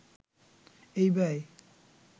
এই ব্যয়